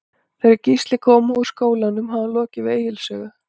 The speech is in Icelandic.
Þegar Gísli kom úr skólanum hafði hún lokið við Egils sögu.